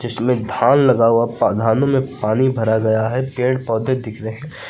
इसमें धान लगा हुआ धानों में पानी भरा गया है पेड़ पौधे दिख रहे हैं।